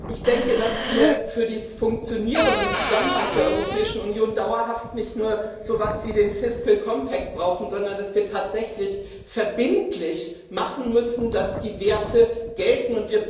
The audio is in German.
Ich denke, dass wir für das Funktionieren und den Zusammenhalt der Europäischen Union dauerhaft nicht nur so was wie den Fiscal Compact brauchen, sondern dass wir tatsächlich verbindlich machen müssen, dass die Werte gelten.